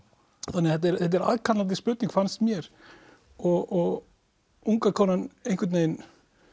þannig að þetta er þetta er aðkallandi spurning fannst mér og unga konan einhvern veginn